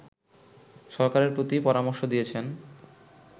সরকারের প্রতি পরামর্শ দিয়েছেন